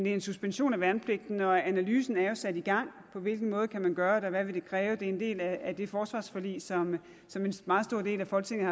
er en suspension af værnepligten og analysen er jo sat i gang på hvilken måde kan man gøre det og hvad vil det kræve det er en del af det forsvarsforlig som en meget stor del af folketinget